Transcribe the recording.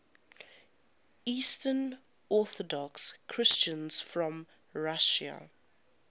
eastern orthodox christians from russia